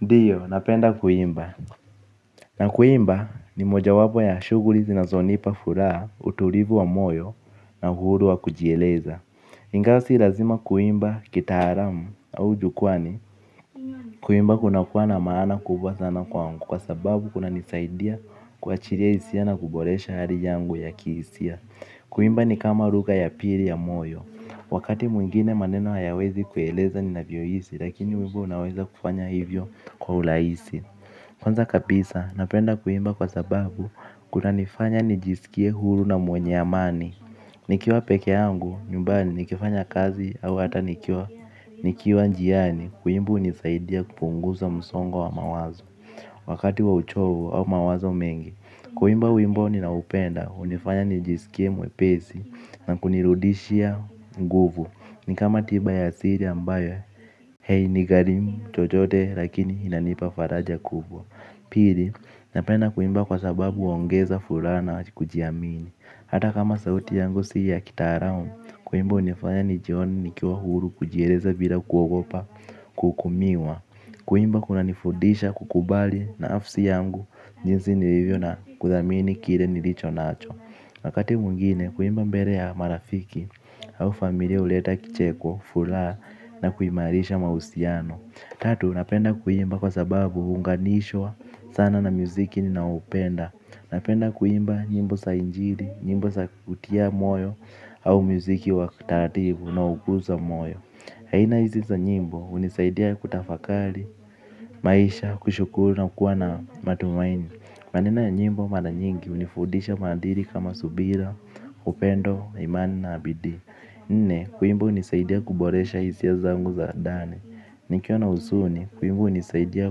Ndiyo, napenda kuimba. Na kuimba ni mojawapo ya shuguli zinazonipa furaha utulivu wa moyo na uhuru wa kujieleza. Ingawa si lazima kuimba kitaalamu au jukwani. Kuimba kuna kuwa na maana kubwa sana kwangu kwa sababu kunanisaidia kuwachilia hisia na kuboresha hali yangu ya kihisia. Kuimba ni kama lugha ya pili ya moyo. Wakati mwingine maneno hayawezi kueleza ninavyohisi lakini wimbo unaweza kufanya hivyo kwa urahisi. Kwanza kabisa, napenda kuimba kwa sababu kunanifanya nijisikie huru na mwenye amani. Nikiwa peke yangu, nyumbani nikifanya kazi au hata nikiwa njiani, kuimba hunisaidia kupunguza msongo wa mawazo. Wakati wa uchovu au mawazo mengi, kuimba wimbo ninaoupenda hunifanya nijisikie mwepesi na kunirudishia nguvu. Nikama tiba ya siri ambayo, hainigharimu chochote lakini inanipa faraja kubwa. Pili, napenda kuimba kwa sababu huongeza furaha na kujiamini. Hata kama sauti yangu si ya kitaalamu, kuimba hunifanya nijione nikiwa huru kujieleza bila kuogopa kuhukumiwa. Kuimba kuna nifudisha kukubali na nafsi yangu jinsi nilivyo na kuthamini kile nilicho nacho. Wakati mwingine, kuimba mbele ya marafiki au familia huleta kicheko furaha na kuimarisha mahusiano. Tatu, napenda kuimba kwa sababu huunganishwa sana na muziki ninaoupenda. Napenda kuimba nyimbo za injili, nyimbo za kutia moyo au muziki wa kitaratibu unaokuza moyo aina hizi za nyimbo hunisaidia kutafakari, maisha, kushukuru na kuwa na matumaini maneno ya nyimbo mara nyingi, hunifudisha maadili kama subira, upendo, imani na bidii. Nne, kuimba hunisaidia kuboresha hisia zangu za ndani. Nikiwa na huzuni, wimbo hunisaidia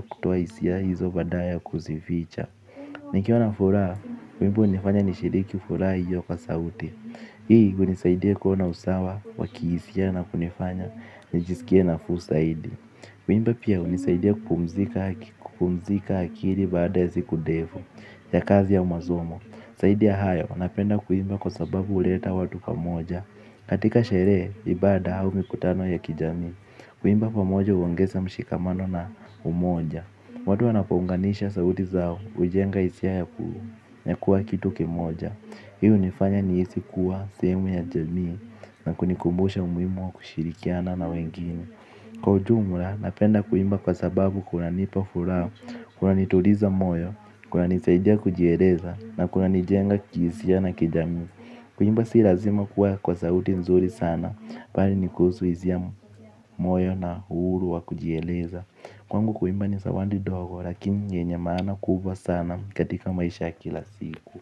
kutoa hisia hizo baada ya kuzificha. Nikiwa na furaha, wimbo hunifanya nishiriki furaha hiyo kwa sauti. Hii, hunisaidia kuwa na usawa, wa kihisia na kunifanya, nijisikie nafuu zaidi. Kuimbo pia, hunisaidia kupumzika akili baada ya siku ndefu ya kazi ya masomo. Zaidi ya hayo, napenda kuimba kwa sababu huleta watu pamoja. Katika sherehe, ibada au mikutano ya kijami. Kuimba pamoja huongeza mshikamano na umoja. Watu wanapounganisha sauti zao, hujenga hisia ya kuwa kitu kimoja. Hii hunifanya nihisi kuwa sehemu ya jamii na kunikumbusha umuhimu wa kushirikiana na wengine. Kwa ujumla, napenda kuimba kwa sababu kunanipa furaha, kunanituliza moyo, kunanisaidia kujieleza na kunanijenga kihisia na kijamii. Kuimba si lazima kuwa kwa sauti nzuri sana bali ni khusu hisia z moyo na uhuru wa kujieleza. Kwangu kuimba ni zawadi ndogo lakini yenye maana kubwa sana katika maisha ya kila siku.